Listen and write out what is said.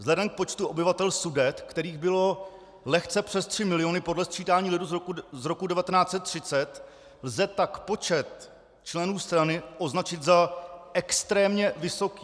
Vzhledem k počtu obyvatel Sudet, kterých bylo lehce přes 3 miliony podle sčítání lidu z roku 1930, lze tak počet členů strany označit za extrémně vysoký.